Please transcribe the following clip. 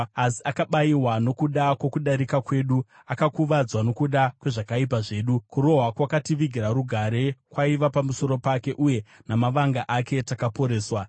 Asi akabayiwa nokuda kwokudarika kwedu, akakuvadzwa nokuda kwezvakaipa zvedu; kurohwa kwakativigira rugare kwaiva pamusoro pake, uye namavanga ake takaporeswa.